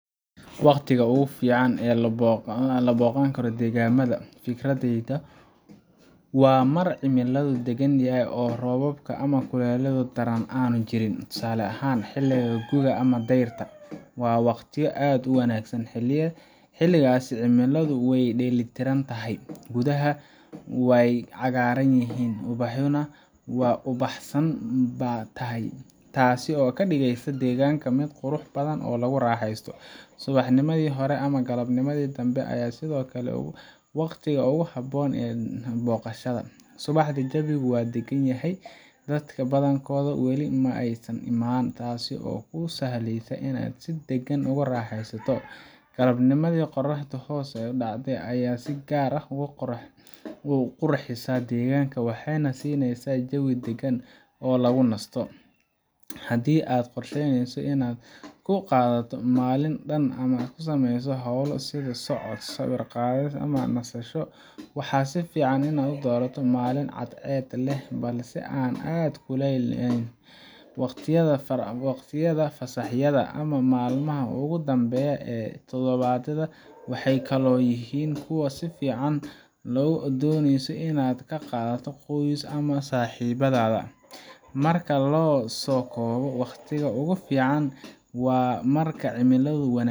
maxWaqtiga ugu fiican ee lagu booqan karo deegaamada, fikradayda, waa marka cimiladu deggan tahay oo roobka ama kulaylka daran aanu jirin. Tusaale ahaan, xilliga guga ama dayrta waa waqtiyo aad u wanaagsan. Xilligaas cimiladu way dheellitiran tahay, geeduhuna way cagaaran yihiin, ubaxuna waa ubaxsan yahay, taas oo ka dhigaysa deegaanka mid qurux badan oo lagu raaxeysto. Subaxnimada hore ama galabnimada dambe ayaa sidoo kale ah waqtiyo ku habboon booqashada. Subaxda, jawigu waa deggan yahay, dadka badankoodna weli ma aysan imaan, taasoo kuu sahlaysa inaad si dagan ugu raaxaysato. Galabnimada, qoraxda hoos u dhacaysa ayaa si gaar ah u qurxisa deegaanka, waxayna siinaysaa jawi dagan oo lagu nasto. Haddii aad qorsheynayso inaad ku qaadato maalin dhan ama aad sameyso hawlo sida socod, sawir qaadis, ama nasasho, waxaa fiican inaad doorato maalin cadceed leh balse aan aad u kululayn. Waqtiyada fasaxyada ama maalmaha ugu dambeeya ee toddobaadka waxay kaloo yihiin kuwa fiican haddii aad dooneyso inaad la qaadato qoyska ama saaxiibada. Marka la soo koobo, wakhtiga ugu fiican waa marka cimiladu wanaag